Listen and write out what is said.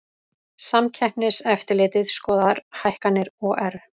Samkeppniseftirlitið skoðar hækkanir OR